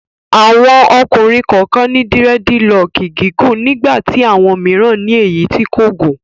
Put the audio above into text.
Àwọn ọkùnrin kọ̀ọ̀kan ní dírẹ́dilọọkì gígùn nígbà tí àwọn mìíràn ní èyí tí kò gùn.